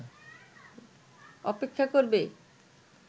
অপেক্ষা করবে